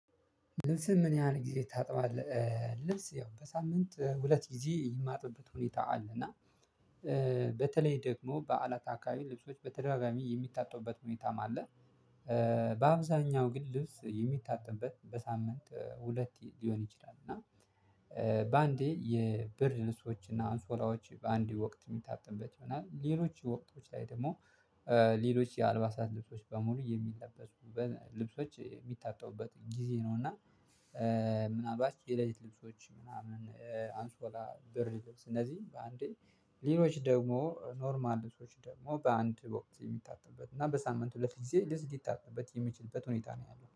ልብስህን ምን ያህል ጊዜ ታጥባለህ? ልብስ ያው በሳምንት ሁለት ጊዜ የማጥብበት ሁኔታ አለ እና በተለይ ደግሞ በአለት አካባቢ ልብሶች በተደጋጋሚ የሚታጠቡበት ሁኔታም አለ። በአብዛኛው ግን ልብስ የሚታጠብበት በሳምንት ሁለቴ ሊሆን ይችላል። እና በአንዴ የብርድልብሶችና አንሶላዎች በአንዴ ወቅት የሚታጠብበት ይሆናል። ሌሎች ወቅቶች ላይ ደግሞ ሌሎች የአልባሳት ልብሶች በሙሉ የሚለበሱ ልብሶች የሚታጠቡበት ጊዜ ነው። እና ምናልባት የለሊት ልብሶች ምናምን አንሶላ ብርድ ልብስ እነዚህ በአንዴ ሌሎች ደግሞ ኖርማል ልብሶች ደግሞ በአንድ ወቅት የሚታጠብበት እና በሳምንት ሁለት ጊዜ ልብስ ሊታጠብበት የሚችልበት ሁኔታ ነው ያለው